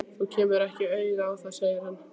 Þú kemur ekki auga á það segir hann.